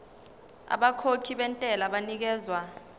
abakhokhi bentela banikezwa